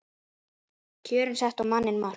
Kjörin settu á manninn mark